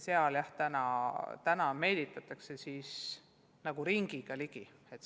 Praegu meelitatakse õpetajaid nagu ringiga ligi.